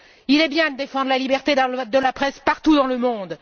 Il est bien de défendre la liberté de la presse partout dans le monde.